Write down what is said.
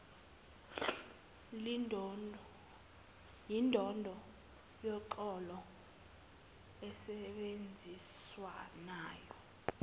yindondo yoxolo insebenziswano